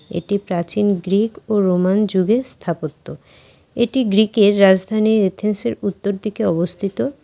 এটি প্রাচীন গ্রিক ও রোমান যুগের স্থাপত্য এটি গ্রিকের রাজধানী এথেন্সের উত্তর দিকে অবস্থিত।